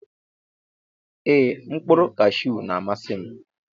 Eeh mkpuru kashu na amasim.